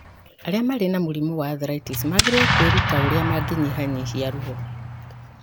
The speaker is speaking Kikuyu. Arĩa marĩ na mũrimũ wa arthritis magĩrĩirũo kwĩruta ũrĩa mangĩnyihanyihia ruo